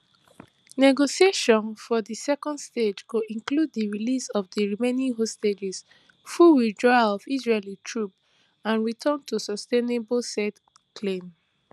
negotiation for di second stage go include di release of di remaining hostages full withdrawal of israeli troops and return to sustainable calm